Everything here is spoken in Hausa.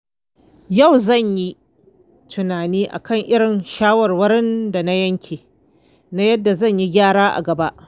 Yau zan yi tunani kan irin shawarwarin da na yanke na yadda zan yi gyara a gaba.